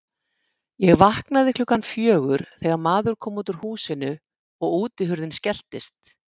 Ég vaknaði klukkan fjögur þegar maður kom út úr húsinu og útihurðin skelltist.